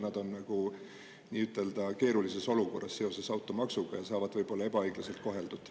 Nad on automaksuga seoses keerulises olukorras ja saavad võib-olla ebaõiglaselt koheldud.